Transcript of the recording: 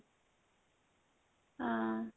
ହଁ